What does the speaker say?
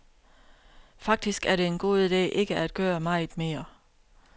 Faktisk er det en god ide ikke at gøre meget mere.